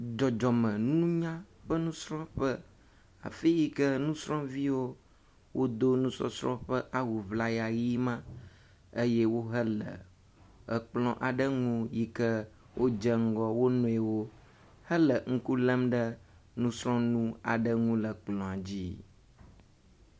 Dzɔdzɔmeŋunya ƒe nusrɔ̃ƒe, afi yi ke nusrɔ̃viwo wodo nusɔsrɔ̃ ƒe awu ŋlaya ʋi ma eye wohe le kplɔ aɖe ŋu yi ke wodze ŋgɔ wonuiwo hele ŋku lém ɖe nusrɔ̃ŋu aɖe ŋu le kplɔ̃a dzi.